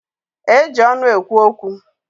Eji ọnụ ekwu okwu.